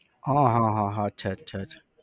હા હા હા અચ્છા અચ્છા અચ્છા